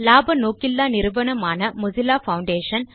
இலாப நோக்கில்லா நிறுவனமான மொசில்லா பவுண்டேஷன்